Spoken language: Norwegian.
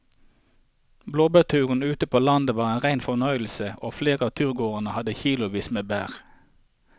Blåbærturen ute på landet var en rein fornøyelse og flere av turgåerene hadde kilosvis med bær.